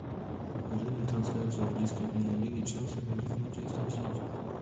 покажи мне трансляцию английской премьер лиги челси против манчестер сити